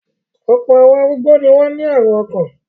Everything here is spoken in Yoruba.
Ọ̀pọ̀ àwọn arúgbó ni wọ́n ní àrùn ọkàn.